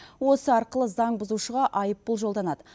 осы арқылы заңбұзушыға айыппұл жолданады